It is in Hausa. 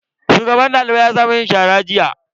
Shugaban daliban ya sa mu yin shara jiya.